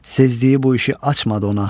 Sezdiyi bu işi açmadı ona.